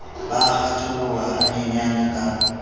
ba a kgatholoha hanyenyane ka